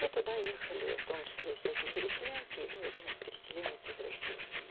и туда ехали в том числе и всякие переселенцы и был один из переселенец из россии